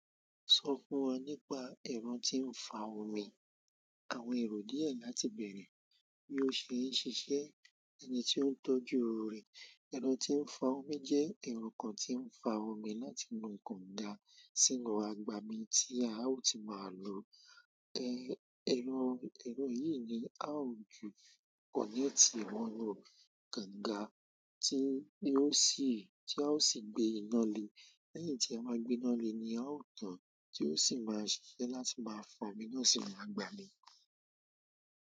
Sọ fún wa nípa ẹ̀rọ tí ń fa omi. Àwọn èrò díẹ̀ láti bẹ̀rẹ̀, bí ó ṣe ń ṣiṣẹ́, ẹni tí ó ń tọ́jú rẹ̀. Ẹ̀rọ tí ń fa omi jẹ́ ẹ̀rọ kan tí ń fa omi láti inú kànga sínú àgbàmì tí a ó ti máa lò. Ẹ̀rọ, ẹ̀rọ yìí ni a ó ju kọ́nẹ́tì wọnú kànga tí ó sì, tí a ó sì gbé iná le. Lẹ́yìn tí a máa gbé inú lé ni a ó tán tí ó sì máa ṣiṣẹ́ láti máa fa omi náà sì máa gbà mí.